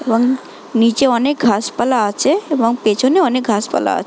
এবং নিচে অনেক ঘাস পালা আছে এবং পেছনে অনেক ঘাস পালা আ--